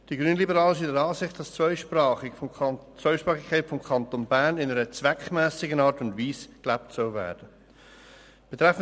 Die Grünliberalen sind der Ansicht, dass die Zweisprachigkeit des Kantons Bern in einer zweckmässigen Art und Weise gelebt werden soll.